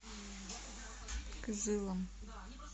кызылом